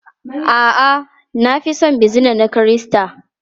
A'a, na fi son bizina na Kirista.